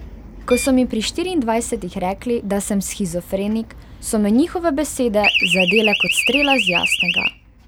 Ko so mi pri štiriindvajsetih rekli, da sem shizofrenik, so me njihove besede zadele ko strela z jasnega.